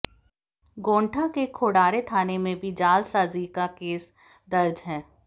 गोण्डा के खोड़ारे थाना में भी जालसाजी का केस दर्ज है